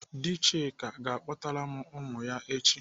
Dị Chika ga-akpọtara m ụmụ ya echi.